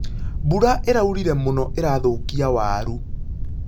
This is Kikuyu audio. Mbura ĩraurire mũno ĩrathũkia waru.